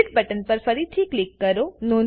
split button પર ફરીથી click કરો